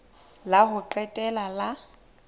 la ho qetela la ho